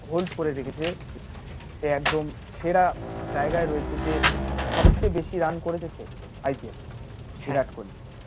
hold করে রেখেছে সে একদম সেরা জায়গায় রয়েছে যে সবচেয়ে বেশি রান করেছে সে IPL এ